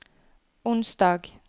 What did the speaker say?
onsdag